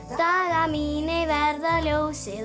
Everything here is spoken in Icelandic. dagar mínir verða ljósið